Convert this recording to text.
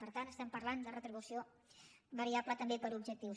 per tant estem parlant de retribució variable també per objectius